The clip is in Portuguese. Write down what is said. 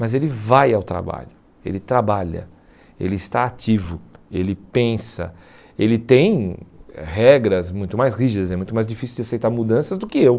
Mas ele vai ao trabalho, ele trabalha, ele está ativo, ele pensa, ele tem regras muito mais rígidas, é muito mais difícil de aceitar mudanças do que eu.